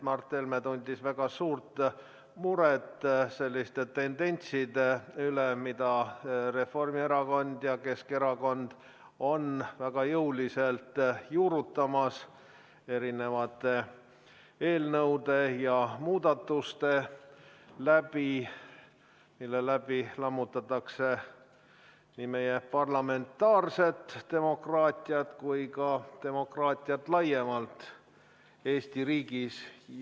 Mart Helme tundis väga suurt muret selliste tendentside üle, mida Reformierakond ja Keskerakond on väga jõuliselt juurutamas eelnõude ja muudatuste kaudu, millega lammutatakse nii meie parlamentaarset demokraatiat kui ka demokraatiat laiemalt Eesti riigis.